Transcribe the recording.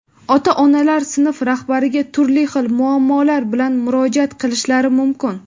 Ota-onalar sinf rahbariga turli xil muammolar bilan murojaat qilishlari mumkin.